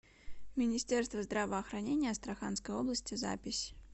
министерство здравоохранения астраханской области запись